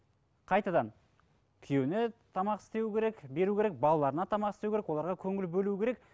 қайтадан күйеуіне тамақ істеу керек беру керек балаларына тамақ істеу керек оларға көңіл бөлу керек